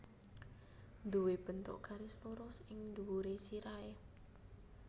Nduwé bentuk garis lurus ing dhuwuré sirahé